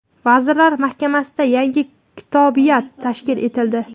Vazirlar Mahkamasida yangi kotibiyat tashkil etildi.